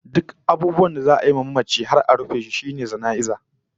Duk abubuwan da za'a yi wa mamaci har a rufe shi sune jana'iza